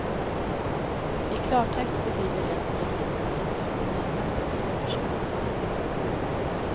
I klartext betyder det att polisen ska titta litet närmare på vissa personer.